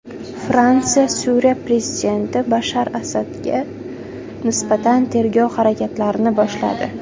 Fransiya Suriya prezidenti Bashar Asadga nisbatan tergov harakatlarini boshladi.